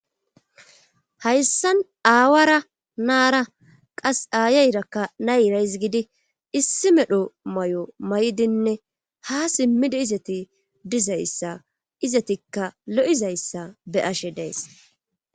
hayssan aawara naara qas aayayrakka nayrays gidi issi medho may7o may7dinne ha simmida izati dizayssa izatikka lo7izayssa be ashe days